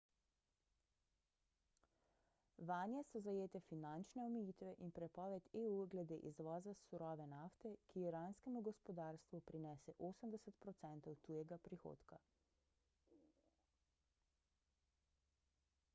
vanje so zajete finančne omejitve in prepoved eu glede izvoza surove nafte ki iranskemu gospodarstvu prinese 80 % tujega prihodka